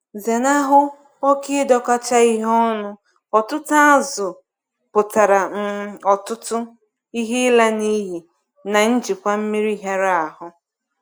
Zenahụ oke ịdọkọcha ihe ọnụ - ọtụtụ azụ̀ pụtara um ọtụtụ™ ihe ịla n’iyi na njikwa mmiri hịara ahụ.